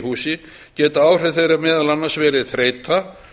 húsi geta áhrif þeirra meðal annars verið þreyta